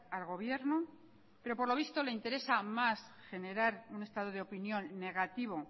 al gobierno pero por lo visto le interesa más generar un estado de opinión negativo